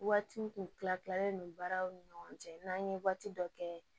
Waatiw kun tila kilalen don baaraw ni ɲɔgɔn cɛ n'an ye waati dɔ kɛ